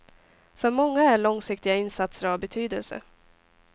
För många är långsiktiga insatser av betydelse.